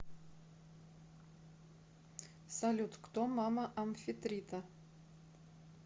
салют кто мама амфитрита